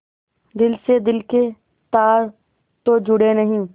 दिल से दिल के तार तो जुड़े नहीं